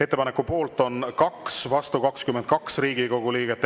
Ettepaneku poolt on 2, vastu 22 Riigikogu liiget.